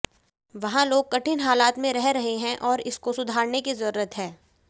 वहां लोग कठिन हालात में रह रहे हैं और इसको सुधारने की जरूरत है